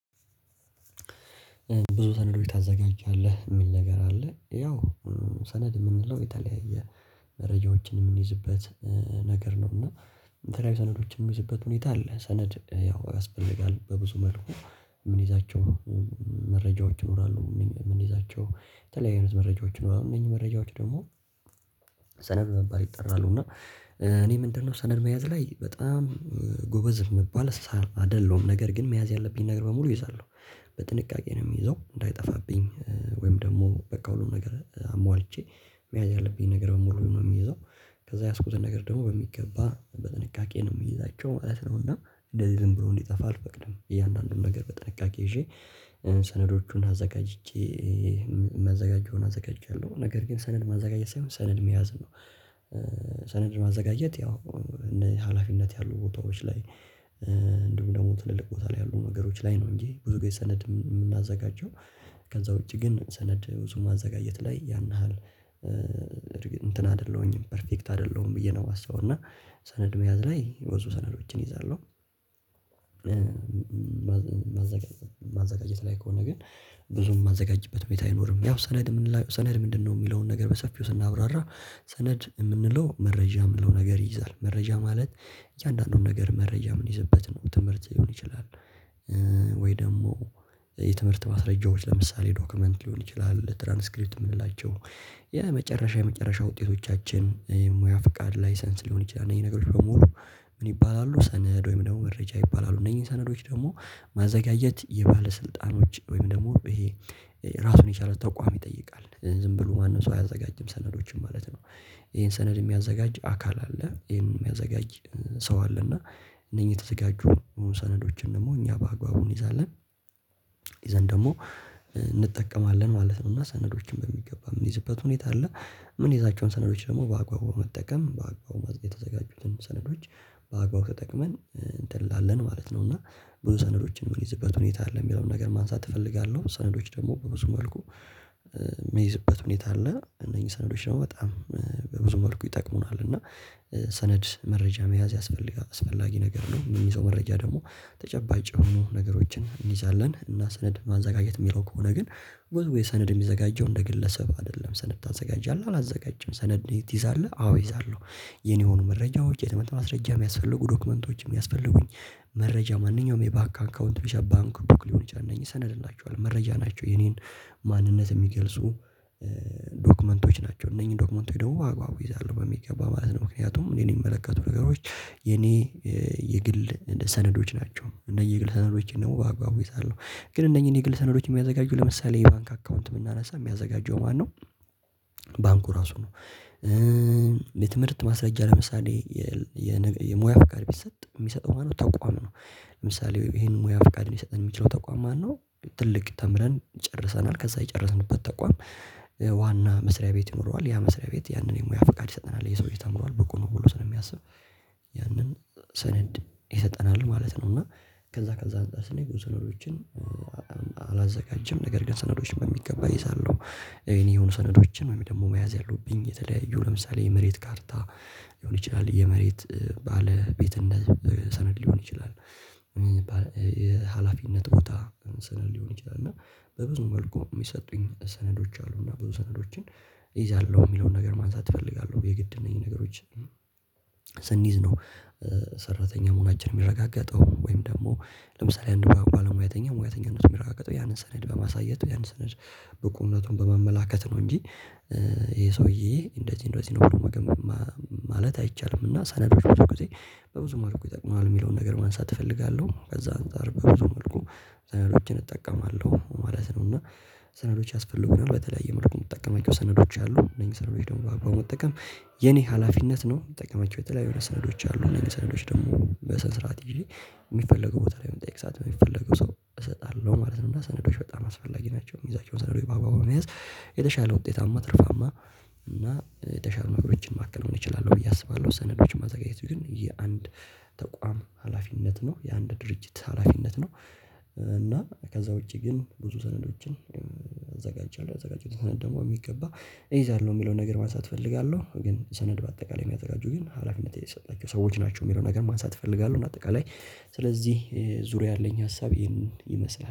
ብዙ ሰነዶች ታዘጋጃለህ የሚል ነገር አለ ያው ሰነድ የምንለው የተለያየ መረጃዎችን የምንይዝበት ነገር ነው። እና የተለያዩ ሰነዶች የምንይዝበት ሁኔታ አለ። ሰነድ ያው ያስፈልጋል በብዙ መልኩ ምኒዛቸው መረጃዎች ይኖራሉ የምንይዛቸው የተለያዩ አይነት መረጃዎች ይኖራሉ እነኚ መረጃዎች ደግሞ ሰነድ በመባል ይጠራሉ። እና እኔ ምንድነው? ሰነድ በመያዝ ላይ በጣም ጎበዝ የምባል አይደለሁም። ነገር ግን መያዝ ያለብኝ ነገር በሙሉ እይዛለው። በጥንቃቄ ነው የሚይዘው እንዳይጠፋብኝ ወይም ደግሞ በቃ ሁሉም ነገር አሟልቼ መያዝ ያለብኝ ነገር በሙሉ ነው የሚይዘው። ከዛ የያዝኩትን ነገር ደግሞ በሚገባ በጥንቃቄ ነው የምይዛቸው ማለት ነው። እና እንደዚህ ዝም ብሎ እንዲጠፋ አልፈቅድም። እያንዳንዱን ነገር በጥንቃቄ ይዤ ሰነዶቹን አዘጋጅቼ የሚያዘጋጀውን አዘጋጅቻለሁ ነገር ግን ሰነድ ማዘጋጀት ሳይሆን ሰነድ መያዝ ነው። ሰነድ ማዘጋጀት ያው እንደ እኔ ሀላፊነት ያሉ ቦታዎች ላይ። እንዲሁም ደግሞ ትልልቅ ቦታ ላይ ያሉ ነገሮች ላይ ነው። እንጂ ብዙ ጊዜ ሰነድ የምናዘጋጀው ከዛ ውጪ ግን ሰነድ ብዙ ማዘጋጀት ላይ ያን ያህል እንትን አይደለሁኝም ፐርፌክት አይደለሁም ብዬ ነው የማስበው። እና ሰነድ መያዝ ላይ ብዙ ሰነዶችን እይዛለሁ። ማዘጋጀት ላይ ከሆነ ግን ብዙም ማዘጋጅበት ሁኔታ አይኖርም። ያው ሰነድ ምንላቸው ሰነድ ምንድነው? የሚለውን ነገር በሰፊው ስናብራራ ሰነድ የምንለው መረጃ የምንለው ነገር ይይዛል። መረጃ ማለት እያንዳንዱን ነገር መረጃ ምንይዝበት ነው ትምህርት ሊሆን ይችላል። ወይ ደግሞ የትምህርት ማስረጃዎች ለምሳሌ ዶክመንት ሊሆን ይችላል ትራንስክሪፕት የምንላቸው የመጨረሻ የመጨረሻ ውጤቶቻችን የሙያ ፍቃድ ላይሰንስ ሊሆን ይችላል። እነኚ ነገሮህች በሙሉ ምን ይባላሉ? ሰነድ ወይም ደግሞ መረጃ ይባላሉ። እነኚህ ሰነዶች ደግሞ ማዘጋጀት የባለስልጣኖች ወይም ደግሞ ይሄ ራሱን የቻለ ተቋም ይጠይቃል ዝም ብሎ ማንም ሰው አያዘጋጅም። ሰነዶችን ማለት ነው። ይሄን ሰነድ የሚያዘጋጅ አካል አለ። ይሄን የሚያዘጋጅ ሰው አለ። እና እነኚህ የተዘጋጁ ሰነዶችን ደግሞ እኛ በአግባቡ እንይዛለን። ይዘን ደግሞ እንጠቀማለን ማለት ነው። እና ሰነዶችን በሚገባ የምንይዝበት ሁኔታ አለ። ምኒዛቸውን ሰነዶች ደግሞ በአግባቡ በመጠቀም በአግባቡ የተዘጋጁትን ሰነዶች በአግባቡ ተጠቅመን እንትን እንላለን ማለት ነው። እና ብዙ ሰነዶችን የምንይዝበት ሁኔታ አለ የሚለውን ነገር ማንሳት እፈልጋለሁ። ሰነዶች ደግሞ በብዙ መልኩ የሚይዝበት ሁኔታ አለ። እነኚህ ሰነዶች ደግሞ በጣም በብዙ መልኩ ይጠቅሙናል። እና ሰነድ መረጃ መያዝ ያስፈልጋል አስፈላጊ ነገር ነው። የሚይዘው መረጃ ደግሞ ተጨባጭ የሆኑ ነገሮችን እንይዛለን። እና ሰነድ ማዘጋጀት የሚለው ከሆነ ግን ወዝዌይ ሰነድ የሚዘጋጀው እንደ ግለሰብ አይደለም። ሰነድ ታዘጋጃለህ አላዘጋጅም ሰነድ ትይዛለህ አዎ እይዛለሁ። የእኔ የሆኑ መረጃዎች የትምህርት ማስረጃ የሚያስፈልጉ ዶክመንቶች የሚያስፈልጉኝ መረጃ ማንኛውም የባንክ አንካውንት ብቻ ባንክ ቡክ ሊሆን ይችላል። እነኚ ሰነድ እንላችኋለን መረጃ ናቸው። የኔን ማንነት የሚገልጹ ዶክመንቶች ናቸው። እነኚህን ዶክመንቶች ደግሞ በአግባቡ እይዛለው በሚገባ ማለት ነው። ምክንያቱም እኔን የሚመለከቱ ነገሮች የእኔ የግል ሰነዶች ናቸው። እነኚህ የግል ሰነዶችን በአግባቡ እይዛለው። ግን እነኚህ የግል ሰነዶች የሚያዘጋጁ ለምሳሌ የባንክ አካውንት ብናነሳ የሚያዘጋጀው ማነው? ባንኩ ራሱ ነው። የትምህርት ማስረጃ ለምሳሌ የሙያ ፍቃድ ቢሰጥ የሚሰጥ ሆኖ ተቋም ነው። ለምሳሌ ይሄንን ሙያ ፍቃድ ሊሰጠን የሚችለው ተቋም ማነው? ትልቅ ተምረን ጨርሰናል ከዛ የጨረስንበት ተቋም ዋና መስሪያ ቤት ይኖረዋል። ያ መስሪያ ቤት ያንን የሙያ ፍቃድ ይሰጠናል። ይሄ ሰውዬ ተምሯል ብቁ ነው ብሎ ስለሚያስብ ያንን ሰነድ ይሰጠናል ማለት ነው። እና ከዛ ከዛ አንፃር ስናይ ብዙ ሰነዶችን አላዘጋጅም ነገር ግን ሰነዶችን በሚገባ እይዛለው። የኔ የሆኑ ሰነዶችን ወይም ደግሞ መያዝ ያለብኝ የተለያዩ ለምሳሌ የመሬት ካርታ ሊሆን ይችላል የመሬት ባለቤት እንደዚህ ሰነድ ሊሆን ይችላል። ሀላፊነት ቦታ ሰነድ ሊሆን ይችላል። እና በብዙ መልኩ የሚሰጡኝ ሰነዶች አሉ። እና ብዙ ሰነዶችን እይዛለሁ የሚለውን ነገር ማንሳት እፈልጋለሁ። የግድ እነኚ ነገሮች ስንይዝ ነው። ሰራተኛ መሆናችን የሚረጋገጠው ወይም ደግሞ ለምሳሌ አንድ ባለሙያተኛ ሙያተኝነቱ የሚረጋገጠው ያንን ሰነድ በማሳየት ያንን ሰነድ ብቁነቱን በመመላከት ነው። እንጂ ይሄ ሰውዬ እንደዚህ እንደዚህ ብሎ መገመት ማለት አይቻልም። እና ሳነብ ብዙ ጊዜ በብዙ መልኩ ይጠቅምሀል የሚለውን ነገር ማንሳት እፈልጋለሁ። ከዛ አንፃር በብዙ መልኩ ሰነዶችን እጠቀማለሁ ማለት ነው። እና ሰነዶች ያስፈልጉናል በተለያየ መልኩ የምጠቀማቸው ሰነዶች አሉ እነኚ ሰነዶች ደግሞ በአግባቡ መጠቀም የኔ ሀላፊነት ነው። ምጠቀማቸው የተለያዩ ሰነዶች አሉ እነኚህ ሰነዶች ደግሞ በስነ ስርዓት ይዤ የሚፈለገው ቦታ ላይ በምጠየቅ ሰዓት በሚፈለገው ሰው እሰጣለሁ ማለት ነው። እና ሰነዶች በጣም አስፈላጊ ናቸው። የሚይዛቸው የምይዛቸውን ሰነዶች በአግባቡ በመያዝ የተሻለ ውጤታማ ትርፋማ እና የተሻለ ነገሮችን ማከናወን እችላለሁ ብዬ አስባለሁ። ሰነዶችን ማዘጋጀት ግን የአንድ ተቋም ሀላፊነት ነው። የአንድ ድርጅት ሀላፊነት ነው። እና ከዛ ውጪ ግን ብዙ ሰነዶችን አዘጋጃለሁ ያዘጋጀውትን ሰነድ ደግሞ በሚገባ እይዛለሁ። የሚለውን ነገር ማንሳት እፈልጋለሁ። ግን ሰነድ በአጠቃላይ የሚያዘጋጁ ግን ሀላፊነት የተሰጣቸው ሰዎች ናቸው። የሚለው ነገር ማንሳት እፈልጋለሁ። እንደ አጠቃላይ ስለዚህ ዙሪያ ያለኝ ሀሳብ ይሄንን ይመስላል